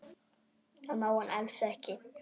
Það má hann alls ekki.